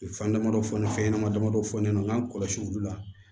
Fan damadɔ fɔ ni fɛn ɲɛnama dama dɔ fɔ ne ɲɛnɛ n k'an kɔlɔsi olu la